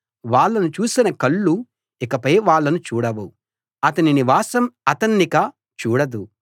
వాళ్ళను చూసిన కళ్ళు ఇకపై వాళ్ళను చూడవు అతని నివాసం అతన్నిక చూడదు